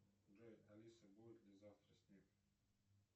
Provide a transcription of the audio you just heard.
джой алиса будет ли завтра снег